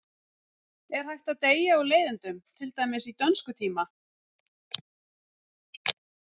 Er hægt að deyja úr leiðindum, til dæmis í dönskutíma?